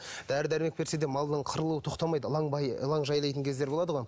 дәрі дәрмек берсе де малдың қырылуы тоқтамайды ылаңбай ылаң жайлайтын кездер болады ғой